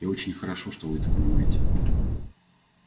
и очень хорошо что вы это понимаете